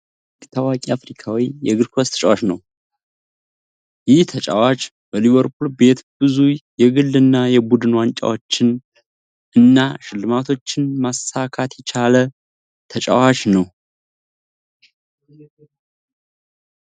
መሀመድ ሳላህ በእንግሊዝ ፕሪሚየር ሊግ ታዋቂ አፍሪካዊ የእግርኳስ ተጫዋች ነው። ይህ ተጫዋች በሊቨርፑል ቤት ብዙ የግል እና የቡድን ዋንጫዎችን እና ሽልማቶችን ማሳካት የቻለ ተጫዋች ነው።